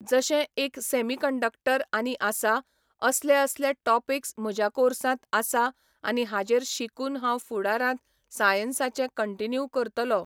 जशे एक semiconductor आनी आसा, असले असले टॉपिक्स म्हज्या कॉर्सांत आसा आनी हाजेर शिकून हांव फुडारांत सायन्साचे कंटिन्यू करतलो.